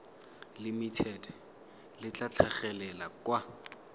limited le tla tlhagelela kwa